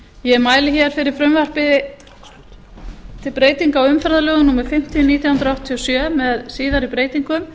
ég mæli fyrir frumvarpi til breytinga á umferðarlögum númer fimmtíu nítján hundruð áttatíu og sjö með síðari breytingum